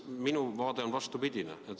Minu vaade on vastupidine.